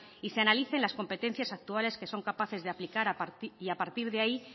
y se analicen las competencias actuales que son capaces de aplicar y a partir de ahí